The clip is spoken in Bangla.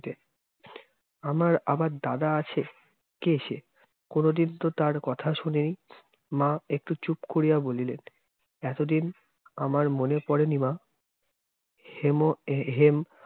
আমার আবার দাদা আছে? কে সে? কোন দিন তো তার কথা শুনিনি! মা একটু চুপ করিয়া বলিলেন, এতদিন আমার মনে পরেনি মা। হেমো হেম-